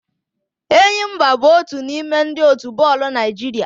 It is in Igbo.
Enyimba bụ otu n'ime ndị otu bọọlụ Naịjirịa